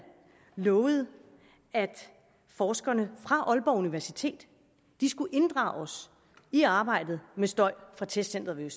lovede at forskerne fra aalborg universitet skulle inddrages i arbejdet med støj fra testcenteret